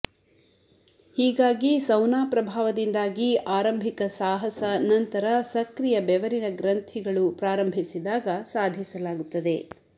ಹೀಗಾಗಿ ಸೌನಾ ಪ್ರಭಾವದಿಂದಾಗಿ ಆರಂಭಿಕ ಸಾಹಸ ನಂತರ ಸಕ್ರಿಯ ಬೆವರಿನ ಗ್ರಂಥಿಗಳು ಪ್ರಾರಂಭಿಸಿದಾಗ ಸಾಧಿಸಲಾಗುತ್ತದೆ